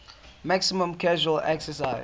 maximum casual excise